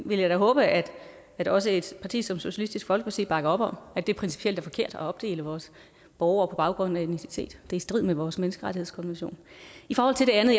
vil jeg da håbe at at også et parti som socialistisk folkeparti bakker op om at det principielt er forkert at opdele vores borgere på baggrund af etnicitet det strid med vores menneskerettighedskonvention i forhold til det andet